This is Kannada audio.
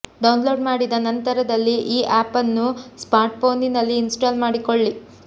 ಡೌನ್ಲೋಡ್ ಮಾಡಿದ ನಂತರದಲ್ಲಿ ಈ ಆಪ್ ಅನ್ನು ಸ್ಮಾರ್ಟ್ಫೋನಿನಲ್ಲಿ ಇನ್ಸ್ಟಾಲ್ ಮಾಡಿಕೊಳ್ಳಿ